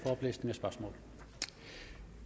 den næste spørgsmål